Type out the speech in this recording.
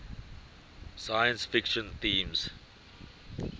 science fiction themes